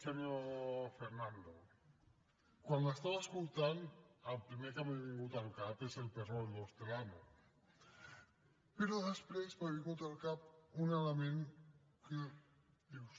senyor fernando quan l’estava escoltant el primer que m’ha vingut al cap és el perro del hortelano però després m’ha vingut al cap un element que dius